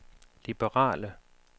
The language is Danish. liberale